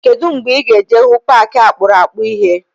Kedụ mgbe ị ga-eje hụ paaki akpụrụakpụ ịhe?